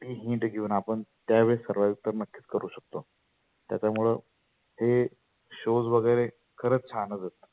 hint घेऊन आपण त्या वेळेस survive तर नक्कीच करु शकतो. त्याच्यामुळे हे shows खरच छान असतात.